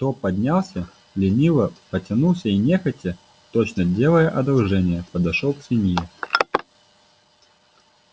кто поднялся лениво потянулся и нехотя точно делая одолжение подошёл к свинье